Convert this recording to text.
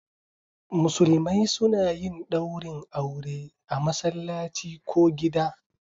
Musulmai suna yin daurin aure a masallaci ko gida.